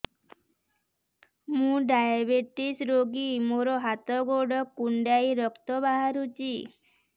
ମୁ ଡାଏବେଟିସ ରୋଗୀ ମୋର ହାତ ଗୋଡ଼ କୁଣ୍ଡାଇ ରକ୍ତ ବାହାରୁଚି